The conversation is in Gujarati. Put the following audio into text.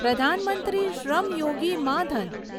પ્રધાન મંત્રી શ્રમ યોગી માં ધન